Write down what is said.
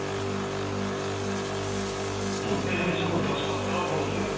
ଗୋଟେ ଜିନିଷକୁ ଦଶ ଥର ପଢୁଥିବେ